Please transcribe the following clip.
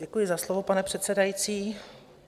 Děkuji za slovo, pane předsedající.